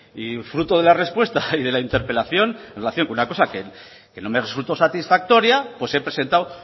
y fruto de la respuesta y de la interpelación en relación con una cosa que no me resultó satisfactoria pues he presentado